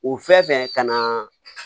O fɛn fɛn ka na